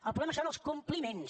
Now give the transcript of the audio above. el problema són els compliments